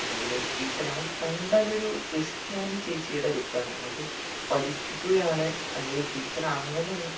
എന്തെങ്കിലും teacher നമക്ക് കണ്ടാൽ ഒരു ക്രിസ്ത്യാനി ചേച്ചിയുടെ look ആണ് നമുക്ക് പഠിപ്പിക്കുകയാണ് അല്ലെങ്കിൽ teacher അങ്ങനെ ന്ന്